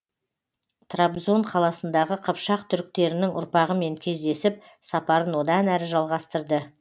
трабзон қаласындағы қыпшақ түріктерінің ұрпағымен кездесіп сапарын одан әрі жалғастырды